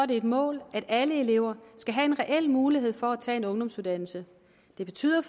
det et mål at alle elever skal have en reel mulighed for at tage en ungdomsuddannelse det betyder